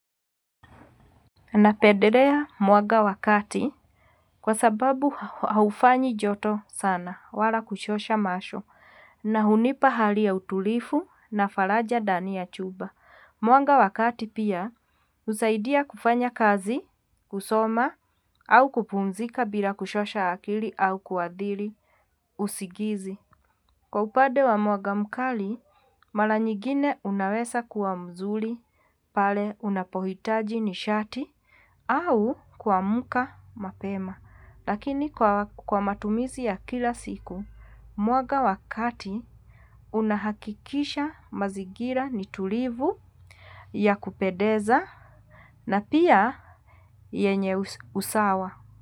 Napendelea mwanga wa kati kwa sababu haufanyi joto sana wala kuchosha macho na hunipa hali ya utulivu na faraja ndani ya chumba. Mwanga wa kati pia husaidia kufanya kazi, kusoma au kupumzika bila kuchosha akili au kuathiri usingizi. Kwa upande wa mwanga mkali mara nyingine unaweza kuwa mzuri pale unapohitaji nishati au kuamka mapema. Lakini kwa matumizi ya kila siku, mwanga wa kati unahakikisha mazingira ni tulivu, ya kupendeza na pia yenye usawa.